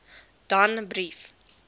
danbrief